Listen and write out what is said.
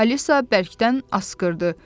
Alisa bərkdən asqırdı.